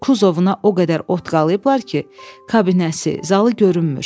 Kuzovuna o qədər ot qalıyıblar ki, kabinəsi, zalı görünmür.